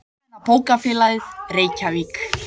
Almenna bókafélagið, Reykjavík.